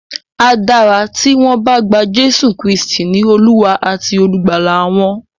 A dára tí wọ́n bá gba Jésù Kristì ní Olúwa àti Olùgbàlà wọn.